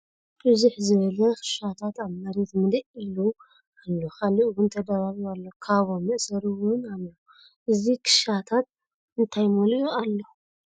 ብዝሕ ዝበለ ክሻታት ኣብ መሬት ምልእ ኢሉ ኣሎ ካልእ እውን ተደራሪቡ ኣሎ ካቦ መእሰሪ እውንኣሎ። እዚ ከሻታት እንታይ መሊኡ ኣሎ ?